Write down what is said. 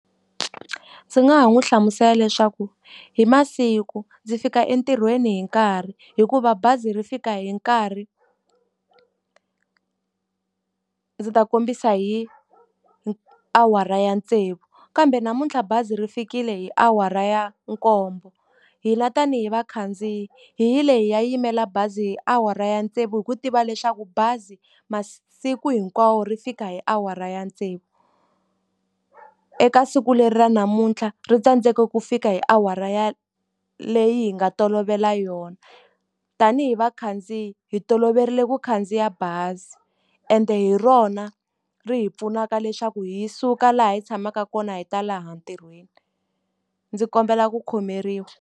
Ndzi nga n'wi hlamusela leswaku hi masiku ndzi fika entirhweni hi nkarhi hikuva bazi ri fika hi nkarhi ndzi ta kombisa hi hi awara ya tsevu. Kambe namuntlha bazi ri fikile hi awara ya nkombo. Hina tanihi vakhandziyi hi yile hi ya yimela bazi hi awara ya tsevu hi ku tiva leswaku bazi masiku hinkwawo ri fika hi awara ya tsevu. Eka siku leri ra namuntlha ri tsandzeke ku fika hi awara ya leyi hi nga tolovela yona. Tanihi vakhandziyi hi toloverile ku khandziya bazi ende hi rona ri hi pfunaka leswaku hi suka laha hi tshamaka kona hi ta laha ntirhweni. Ndzi kombela ku khomeriwa.